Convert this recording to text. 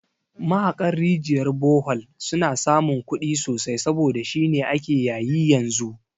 Mahaƙan rijiyar bohol suna samun kudi sosai saboda shine ake yayi yanzu